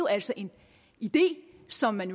altså en idé som man